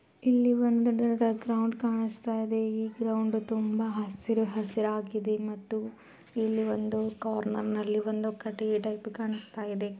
ಇಲ್ಲಿ ಒಂದು ಗ್ರೌಂಡ್ ಕಾಣಿಸ್ತಾ ಇದೆ ಈ ಗ್ರೌಂಡ್ ತುಂಬಾ ಹಸಿರು ಹಸಿರಾಗಿದೆ ಮತ್ತು ಇಲ್ಲಿ ಒಂದು ಕಾರ್ನರ್ ನಲ್ಲಿ ಕಟ್ಟಿಗೆ ಟೈಪ್ ಕಾಣಿಸ್ತಾ ಇದೆ.